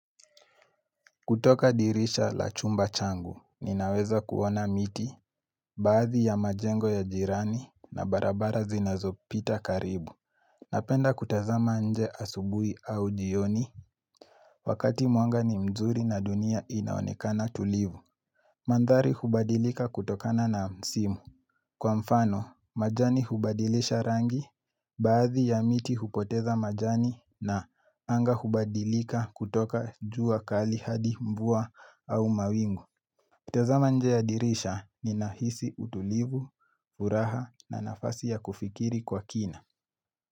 Kutoka dirisha la chumba changu ninaweza kuona miti Baadhi ya majengo ya jirani na barabara zinazopita karibu Napenda kutazama nje asubui au jioni Wakati mwanga ni mzuri na dunia inaonekana tulivu Mandhari hubadilika kutokana na msimu Kwa mfano majani hubadilisha rangi Baadhi ya miti hupoteza majani na anga hubadilika kutoka jua kali hadi mvua au mawingu nikitazama nje ya dirisha ninahisi utulivu, uraha na nafasi ya kufikiri kwa kina.